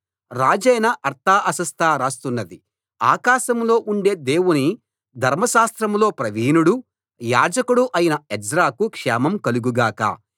రాజైన అర్తహషస్త రాస్తున్నది ఆకాశంలో ఉండే దేవుని ధర్మశాస్త్రంలో ప్రవీణుడు యాజకుడు అయిన ఎజ్రాకు క్షేమం కలుగు గాక